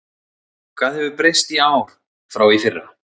Hvað hefur breyst í ár frá í fyrra?